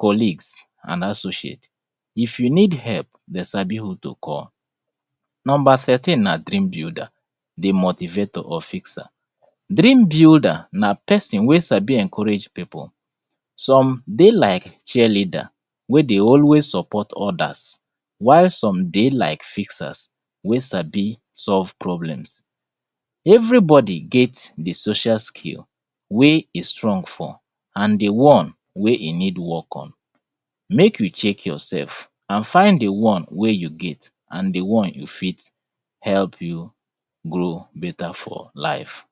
collegues and associates if you need help, dem sabi who to call. Number thirteen na dream builder di motivator. Or fixer. Dream builder na pesin wey sabi encourage pipu, some dey like cheerleader wey dey always support others while some dey like fixers wey sabi solve problems. Everybody get di social skill wey e strong for and di one wey e need work on mek we check yourself and fnd di one wey you get and di one you fit help you grow beta for life.